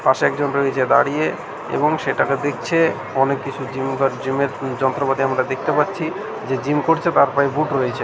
পাশে একজন রয়েছে দাঁড়িয়ে-এ এবং সেটাকে দেখছে-এ অনেক কিছু জিমে -এর যন্ত্রপাতি আমরা দেখতে পাচ্ছি । যে জিম করছে তার পায়ে বুট রয়েছে।